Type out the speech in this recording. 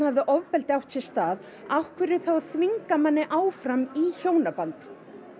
hafi ofbeldi átt sér stað af hverju þá að þvinga manni áfram í hjónaband